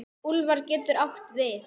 Úlfar getur átt við